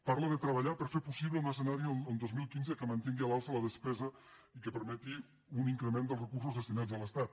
parla de treballar per fer possible un escenari el dos mil quinze que mantingui a l’alça la despesa i que permeti un in·crement dels recursos destinats a l’estat